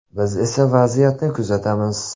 Biz esa vaziyatni kuzatamiz.